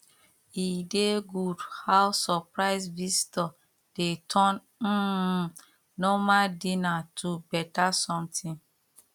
e dey good how surprise visitor dey turn um normal dinner to better something